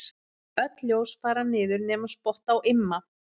Öll ljós fara niður nema spott á Imma.